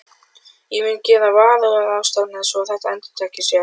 Ég mun gera varúðarráðstafanir svo að þetta endurtaki sig ekki.